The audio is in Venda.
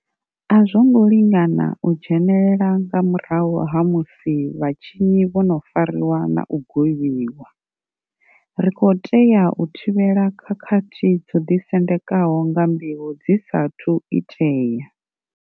A zwo ngo lingana u dzhenelela nga murahu ha musi vhatshinyi vho no fariwa na u gwevhiwa. Ri khou tea u thivhela khakhathi dzo ḓi sendekaho nga mbeu dzi sa athu u itea.